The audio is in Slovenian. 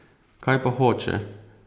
Kaj pa hoče?